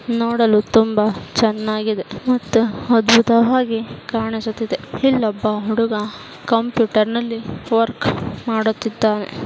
ನೋಡಲು ತುಂಬಾ ಚೆನ್ನಾಗಿದೆ ಮತ್ತು ಅದ್ಭುತವಾಗಿ ಕಾಣಿಸುತ್ತಾ ಇದೆ ಇನ್ನೊಬ್ಬ ಹುಡುಗ ಕಂಪ್ಯೂಟರ್ನಲ್ಲಿ ವರ್ಕ್ ಮಾಡುತ್ತಾ ಇದ್ದಾನೆ